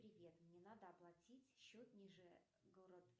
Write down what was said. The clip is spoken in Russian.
привет мне надо оплатить счет ниже город